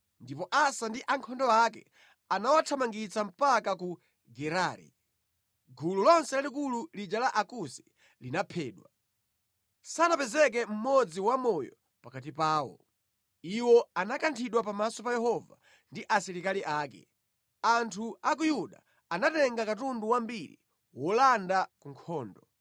ndipo Asa ndi ankhondo ake anawathamangitsa mpaka ku Gerari. Gulu lonse lalikulu lija la Akusi linaphedwa. Sanapezeke mmodzi wamoyo pakati pawo. Iwo anakanthidwa pamaso pa Yehova ndi asilikali ake. Anthu a ku Yuda anatenga katundu wambiri olanda ku nkhondo.